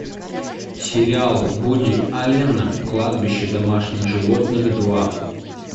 сериал вуди аллена кладбище домашних животных два